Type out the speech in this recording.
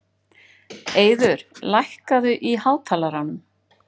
Eiður, lækkaðu í hátalaranum.